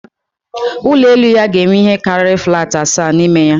Ụlọ elu ya ga-enwe ihe karịrị flatị asaa n'ime ya